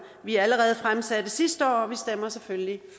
vi allerede fremsatte sidste år og vi stemmer selvfølgelig